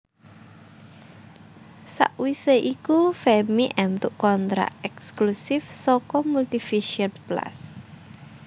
Sawise iku Femmy éntuk kontrak ekslusif saka Multivision Plus